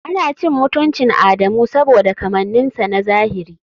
Ana cin mutuncin Adamu saboda kamanninsa na zahiri.